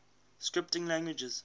scripting languages